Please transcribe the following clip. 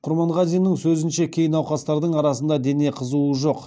құрманғазиннің сөзінше кей науқастардың арасында дене қызуы жоқ